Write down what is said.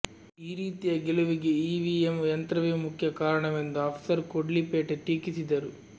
ಈ ರೀತಿಯ ಗೆಲುವಿಗೆ ಇವಿಎಮ್ ಯಂತ್ರವೇ ಮುಖ್ಯ ಕಾರಣವೆಂದು ಅಫ್ಸರ್ ಕೊಡ್ಲಿಪೇಟೆ ಟೀಕಿಸಿದರು